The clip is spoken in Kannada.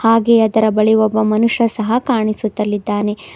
ಹಾಗೆಯೇ ಅದರ ಬಳಿ ಒಬ್ಬ ಮನುಷ್ಯ ಸಹ ಕಾಣಿಸುತಲ್ಲಿದ್ದಾನೆ.